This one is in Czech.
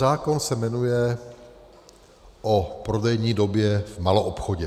Zákon se jmenuje o prodejní době v maloobchodě.